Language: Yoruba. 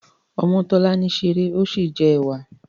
Omotolani ṣeré ọ sí jẹ ẹwà.